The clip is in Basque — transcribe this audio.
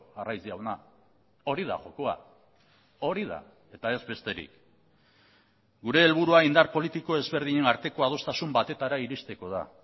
arraiz jauna hori da jokoa hori da eta ez besterik gure helburua indar politiko ezberdinen arteko adostasun batetara iristeko da